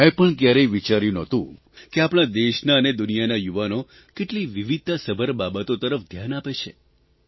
મેં પણ કયારેય વિચાર્યું નહોતું કે આપણા દેશના અને દુનિયાના યુવાનો કેટલી વિવિધતાસભર બાબતો તરફ ધ્યાન આપે છે